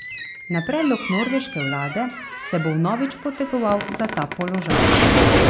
Na predlog norveške vlade se bo vnovič potegoval za ta položaj.